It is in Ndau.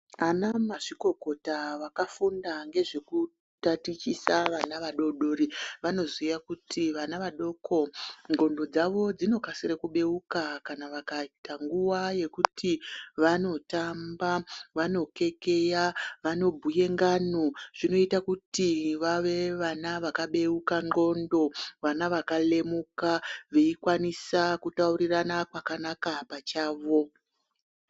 Anamazvikokota vakafunda ngezvekutatichisa vana vadodori vanoziya kuti vana vadoko ndxondo dzavo dzinokasira kubeuka kana vakaita nguwa yekuti vanotamba vanokekeya vanobhuye ngano zvinoite kuti vave vana vakabeuka ndxondo vana vakalemuka veikwanisa kutaurirana pakanaka pachavo.